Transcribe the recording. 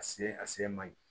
A se a se man ɲi